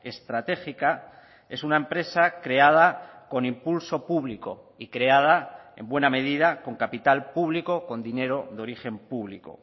estratégica es una empresa creada con impulso público y creada en buena medida con capital público con dinero de origen público